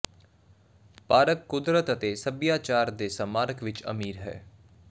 park ਕੁਦਰਤ ਅਤੇ ਸਭਿਆਚਾਰ ਦੇ ਸਮਾਰਕ ਵਿਚ ਅਮੀਰ ਹੈ